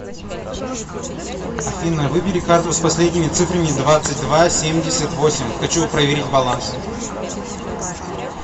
афина выбери карту с последними цифрами двадцать два семьдесят восемь хочу проверить баланс